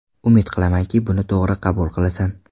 Umid qilamanki, buni to‘g‘ri qabul qilasan.